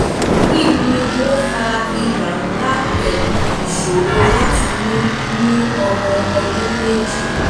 um kini o fa iba nla pẹ̀lu iṣoro lati mi ni ọmọ um ọdun meji?